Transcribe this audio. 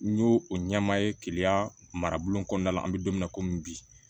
N y'o o ɲɛmaa ye keleya marabolo kɔnɔna la an bɛ don min na komi bi